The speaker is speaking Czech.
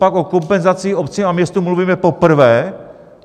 Copak o kompenzacích obcím a městům mluvíme poprvé?